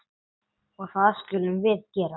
Og það skulum við gera.